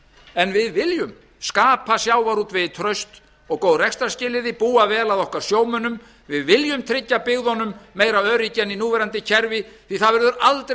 en við viljum skapa sjávarútvegi traust og góð rekstrarskilyrði búa vel að okkar sjómönnum við viljum tryggja byggðunum meira öryggi en í núverandi kerfi því að það verður aldrei